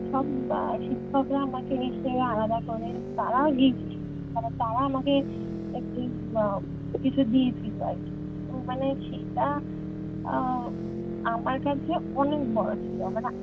সব উম শিক্ষকরা আমাকে নিশ্চই আলাদা করে তারা Gift মানে তারা আমাকে একটি উহ কিছু দিয়েছিলো আরকি তো মানে সেই টা আহ আমার কাছে অনেক বড় ছিল মানে